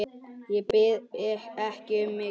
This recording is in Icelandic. Ég bið ekki um mikið.